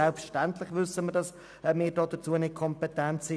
Selbstverständlich wissen wir, dass wir dafür nicht kompetent sind.